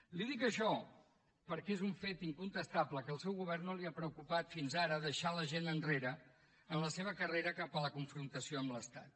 li dic això perquè és un fet incontestable que al seu govern no l’ha preocupat fins ara deixar la gent enrere en la seva carrera cap a la confrontació amb l’estat